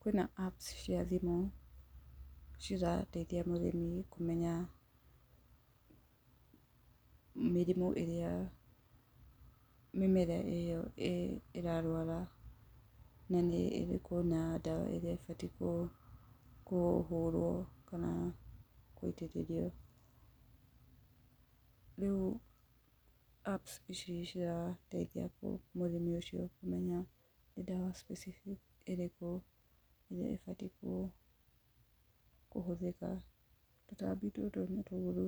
Kwĩna apps cia thimũ cirateithia mũrĩmi kũmenya mĩrimũ ĩrĩa mĩmera ĩyo ĩrarwara, na nĩ ĩrĩkũ na ndawa ĩrĩa ĩbatiĩ kũ, kũhũrwo, kana gũitĩrĩrio. Riũ apps ici cirateithia mũrĩmi ũcio kũmenya nĩ ndawa specific ĩrĩkũ ĩrĩa ĩbatiĩ kũ, kũhũthĩka. Tũtambi tũtũ nĩ toru